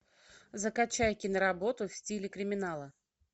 закачай киноработу в стиле криминала